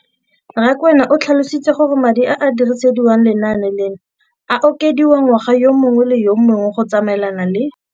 Rakwena o tlhalositse gore madi a a dirisediwang lenaane leno a okediwa ngwaga yo mongwe le yo mongwe go tsamaelana le